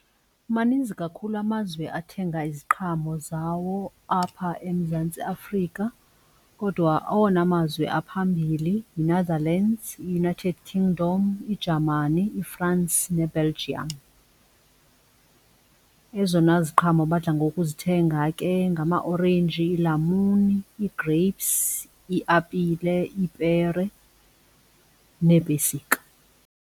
Maninzi kakhulu amazwe athenga iziqhamo zawo apha eMzantsi Afrika kodwa awona mazwe aphambili yiNetherlands, United Kingdom, iJamani, yiFrance neBelgium. Ezona ziqhamo badla ngokuzithenga ke ngamaorenji, iilamuni, ii-grapes, iiapile, iipere neepesika.